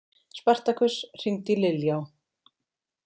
Spartakus, hringdu í Liljá.